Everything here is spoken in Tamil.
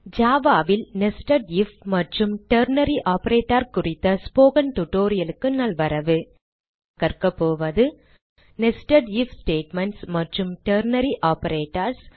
Java ல் nested ஐஎஃப் மற்றும் டெர்னரி ஆப்பரேட்டர் குறித்த ஸ்போக்கன் tutorial க்கு நல்வரவு இந்த tutorial லில் நாம் கற்கபோவது nested ஐஎஃப் ஸ்டேட்மென்ட்ஸ் மற்றும் டெர்னரி ஆப்பரேட்டர்ஸ்